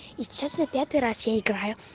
и сейчас на пятый раз я играю